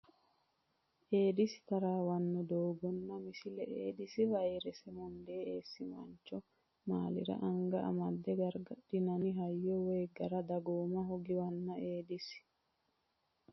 Eedisi taraawanno doogganna Misile Eedisi vayrese munde esi mancho malli re anga amada gargadhinanni hayyo woy gara dagoomaho giwanna Eedisi.